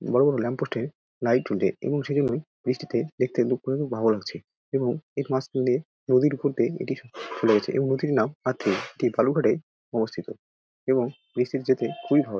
বড়ো বড়ো lamp post -এ লাইট জলছে এবং সেইজন্য বৃষ্টিতে দেখতে দুপুরে ভালো লাগছে এবং এর মাঝ খান দিয়ে নদীর ওপর দিয়ে এটি চলে যাচ্ছে এবং নদীর নাম আটি এটি বালুরঘাটে অবস্থিত এবং বৃষ্টিতে যেতে খুব ই ভালো |